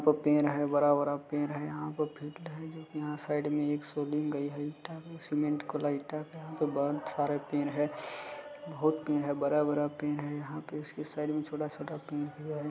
दो पेड़ है बड़ा-बड़ा पेड़ है यहाँ पे फिल्ड है जो की यहाँ साइड में एक गई है यहाँ बहुत सारा पेड़ है बहुत पेड़ है बड़ा-बड़ा पेड़ है यहाँ पे इसके साइड में छोटा-छोटा पेड़ है।